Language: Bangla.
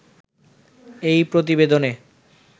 এই প্রতিবেদনে